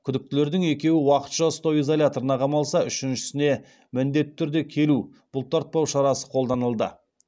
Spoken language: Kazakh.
күдіктілердің екеуі уақытша ұстау изоляторына қамалса үшіншісіне міндетті түрде келу бұлтартпау шарасы қолданылды